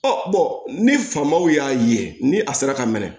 ni faamaw y'a ye ni a sera ka minɛ